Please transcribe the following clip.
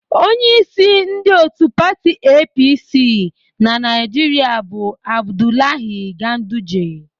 Onyeísí ndị òtù pati EePiiSii na Naịjiria bụ Abdulahi Ganduje.